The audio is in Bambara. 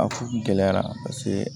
A kun gɛlɛyara paseke